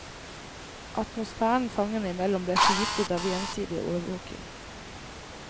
Atmosfæren fangene imellom ble forgiftet av gjensidig overvåking.